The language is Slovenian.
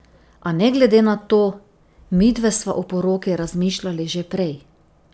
A ne glede na to, midve sva o poroki razmišljali že prej.